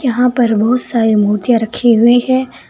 यहां पर बहुत सारे मूर्तियां रखी हुई है।